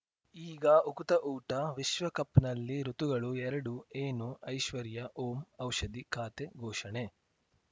ಈಗ ಉಕುತ ಊಟ ವಿಶ್ವಕಪ್‌ನಲ್ಲಿ ಋತುಗಳು ಎರಡು ಏನು ಐಶ್ವರ್ಯಾ ಓಂ ಔಷಧಿ ಖಾತೆ ಘೋಷಣೆ